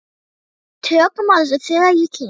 Við tökum á þessu þegar ég kem.